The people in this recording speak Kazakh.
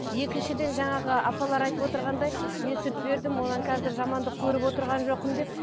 екіншіден жаңағы апалар айтып отырғандай мен сүт бердім онан қазір жамандық көріп отырған жоқпын деп